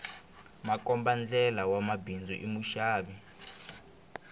makombandlela wa bindzu i muxavi